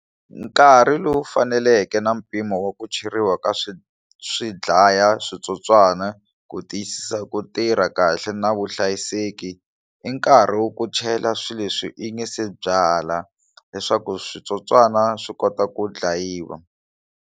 Nkarhi lowu faneleke na mpimo wa ku cheriwa ka swi swi dlaya switsotswana ku tiyisisa ku tirha kahle na vuhlayiseki i nkarhi wa ku chela swilo leswi hi nga se byala leswaku switsotswana swi kota ku dlayiwa.